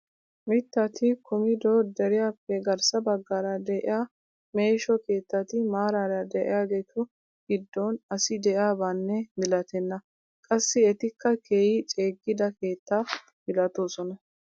Mittati kumido deriyaappe garssa baggaara de'iyaa meeshsho kettati maarara de'iyaagetu giddon asi de'iyaabanne milatenna! qassi etikka keehi ceegida keetta milatoosona.